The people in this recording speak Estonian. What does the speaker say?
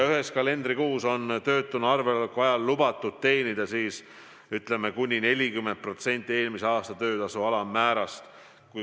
Ühes kalendrikuus oleks töötuna arvel oleku ajal lubatud teenida kuni 40% eelmise aasta töötasu alammäärast.